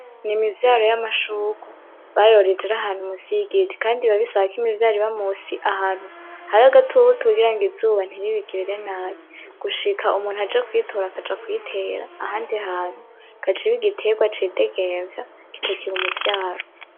N’imivyaro y’amashurwe bayoreje iri ahantu musi y’igiti kandi bisaba ko imivyaro iba ahantu musi ahantu hari agatutu kugirango izuba nti ribigirire nabi gushira umuntu aje kuyitora akaja kuyitera ahantu igaca iba igiterwa videgemvya kitakiri umuvyaro.